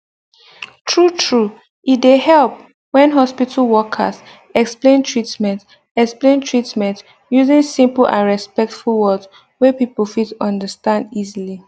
true true e dey help when hospital workers explain treatment explain treatment using simple and respectful words wey people fit understand easily